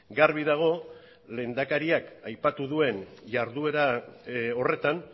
garbi dago lehendakariak aipatu duen jarduera horretan